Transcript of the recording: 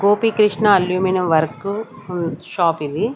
Gopikrishna aluminium work ఉం షాపిది .